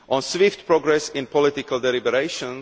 on swift progress in political deliberations